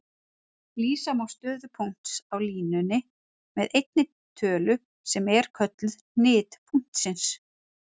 Lýsa má stöðu punkts á línunni með einni tölu sem er kölluð hnit punktsins.